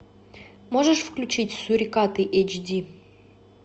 можешь включить сурикаты эйч ди